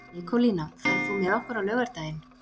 Nikólína, ferð þú með okkur á laugardaginn?